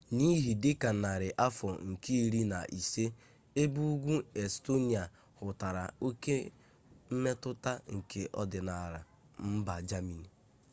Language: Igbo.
n'ihe dị ka narị afọ nke iri na ise ebe ugwu estonia hụtara oke mmetụta nke ọdịnala mba germany